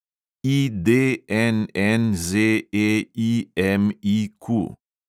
IDNNZEIMIQ